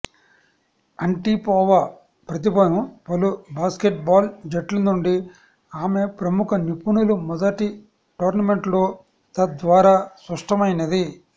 Antipova ప్రతిభను పలు basketball జట్లు నుండి ఆమె ప్రముఖ నిపుణులు మొదటి టోర్నమెంట్లో తద్వారా స్పష్టమైనది